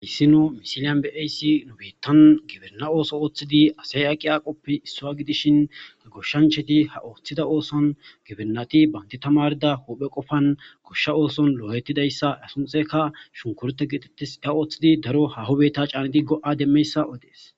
Hissino misiliyan be'ayssi nu biittan giberna ooso ooththidi asay aqqi aaqoppe issoa gidishin ga goshshancheti ha ooththida ooson gibenati banti tamarda huphe qofan goshsha ooson lo'o'ettidayssa asunxeka shunkurete geetettis ta ooththidi daro hahobetta caanidi go' demmeyssa odees.